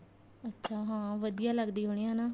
ਅੱਛਾ ਹਾਂ ਵਧੀਆ ਲਗਦੀ ਹੋਣੀ ਹਨਾ